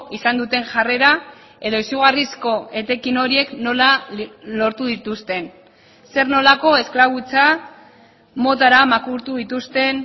izan duten jarrera edo izugarrizko etekin horiek nola lortu dituzten zer nolako esklabutza motara makurtu dituzten